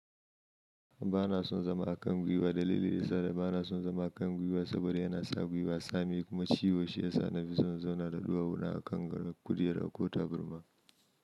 Bana son zama a kan gwiwa. Dalilin da yasa bana son zama a kan gwiwa saboda yana sa gwiwa tsami kuma ciwo shi yasa na fi son in zauna da ɗuwawu na a kan gado, kujera ko taburma.